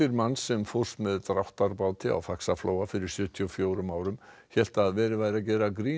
manns sem fórst með dráttarbáti á Faxaflóa fyrir sjötíu og fjórum árum hélt að verið væri að gera grín